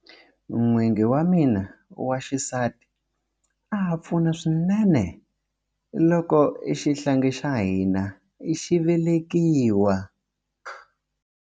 N'wingi wa mina wa xisati a pfuna swinene loko xihlangi xa hina xi velekiwa.